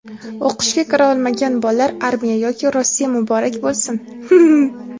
O‘qishga kira olmagan bollar armiya yoki Rossiya muborak bo‘lsin.